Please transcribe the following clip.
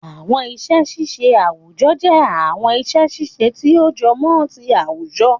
Àwọn iṣẹ́ ṣíṣe àwùjọ jẹ́ àwọn iṣẹ́ ṣíṣe tí ó jọmọ́ ti àwùjọ